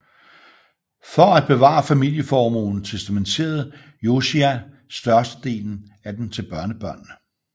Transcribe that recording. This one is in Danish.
For at bevare familieformuen testamenterede Josiah største delen af den til børnebørnene